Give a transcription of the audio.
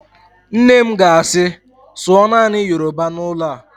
Nne m ga-asị, sụọ naanị Yoroba n'ụlọ a!